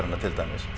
til dæmis